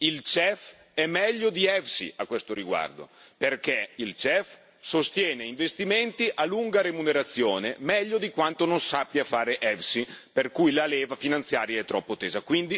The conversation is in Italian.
Il CEF è meglio di EFSI a questo riguardo, perché il CEF sostiene investimenti a lunga remunerazione meglio di quanto non sappia fare EFSI per il quale la leva finanziaria è troppo tesa.